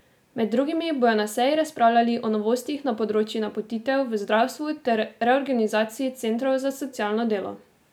Med drugim bodo na seji razpravljali o novostih na področju napotitev v zdravstvu ter reorganizaciji centrov za socialno delo.